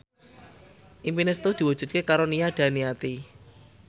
impine Setu diwujudke karo Nia Daniati